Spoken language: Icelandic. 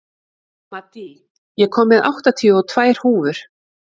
Maddý, ég kom með áttatíu og tvær húfur!